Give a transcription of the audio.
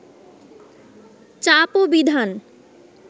চাপ ও বিধান